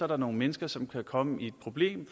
der nogle mennesker som kan komme i problemer i